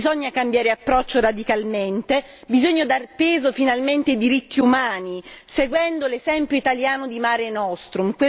Bisogna cambiare approccio radicalmente, bisogna dar peso finalmente ai diritti umani, seguendo l'esempio italiano di Mare Nostrum.